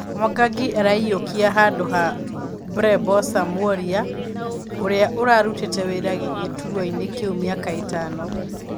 Mwangangi araiyũkia handũha burobesa Mworia ũrĩa ũrarutĩte wĩra gĩturwainĩ kĩu mĩaka ĩtano.